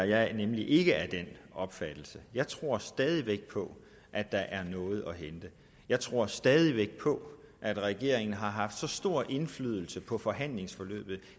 jeg er nemlig ikke af den opfattelse jeg tror stadig væk på at der er noget at hente jeg tror stadig væk på at regeringen har haft stor indflydelse på forhandlingsforløbet